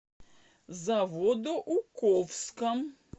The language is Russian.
заводоуковском